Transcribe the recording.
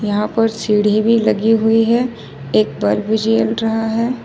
यहां पर सीढ़ी भी लगी हुई है एक पर भी चल रहा है ।